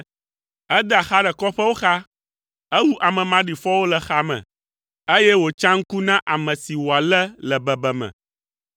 Edea xa ɖe kɔƒewo xa; ewu ame maɖifɔwo le xame, eye wòtsa ŋu na ame si wòalé le bebeme.